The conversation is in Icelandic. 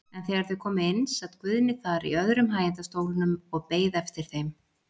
En þegar þau komu inn sat Guðni þar í öðrum hægindastólnum og beið eftir þeim.